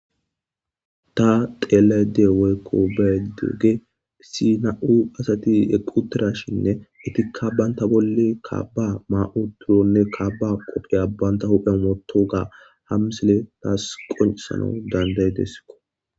Ta xelayde woykko beydege sina'u asati eputirashinne etikka banta bolle kaaba ma'u turonne kabba qopheya banta huphe moto ga ham sile taas qoncesana danday deskko.